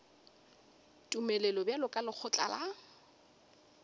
tumelelo bjalo ka lekgotla la